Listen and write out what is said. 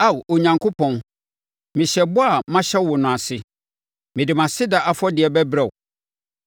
Ao Onyankopɔn, mehyɛ ɛbɔ a mahyɛ wo no ase, mede mʼaseda afɔdeɛ bɛbrɛ wo.